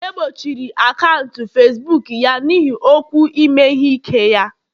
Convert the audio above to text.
egbochiri akaụntụ Facibuku ya n'ihi okwu ime ihe ike ya